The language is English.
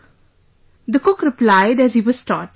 " The cook replied as he was taught